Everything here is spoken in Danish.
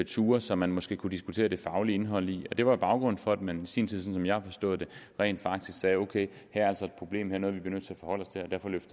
ture som man måske kunne diskutere det faglige indhold af det var baggrunden for at man i sin tid sådan som jeg har forstået det rent faktisk sagde ok her er altså et problem her er noget vi er nødt til